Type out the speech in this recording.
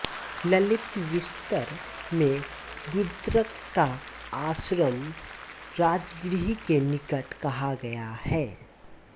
ललितविस्तर में रुद्रक का आश्रम राजगृह के निकट कहा गया है